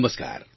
નમસ્કાર